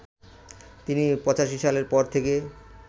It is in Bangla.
তিনি ৮৫ সালের পর থেকে